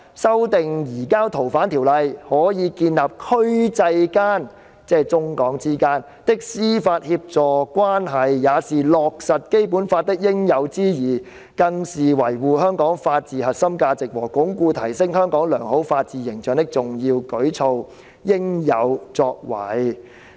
修訂移交逃犯條例可以建立區際間"——即中港之間——"的司法協助關係，也是落實《基本法》的應有之義，更是維護香港法治核心價值和鞏固提升香港良好法治形象的重要舉措、應有作為。